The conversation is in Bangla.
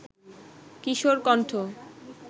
কিশোর কণ্ঠ